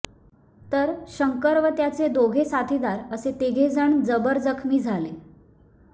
तर शंकर व त्याचे दोघे साथीदार असे तिघे जण जबर जखमी झाले